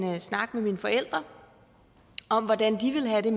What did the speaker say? snak med mine forældre om hvordan de ville have